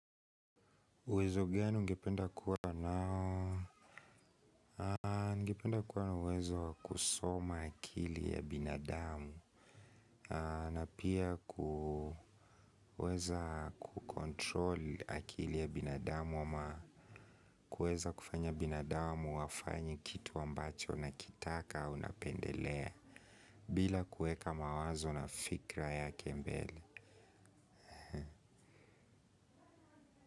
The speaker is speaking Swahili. Uwezo gani ungependa kuwa nao? Ningependa kuwa na uwezo wa kusoma akili ya binadamu. Na pia kuweza kucontrol akili ya binadamu. Kueza kufanya binadamu wafanye kitu ambacho nakitaka unapendelea. Bila kuweka mawazo na fikra yake mbele.